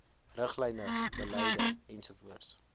riglyne beleide ens